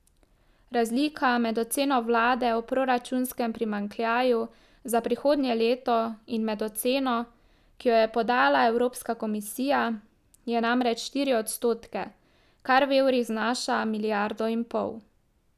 Razlika med oceno vlade o proračunskem primanjkljaju za prihodnje leto in med oceno, ki jo je podala Evropska komisija, je namreč štiri odstotke, kar v evrih znaša milijardo in pol.